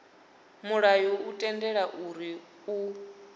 mulayo u tendela uri u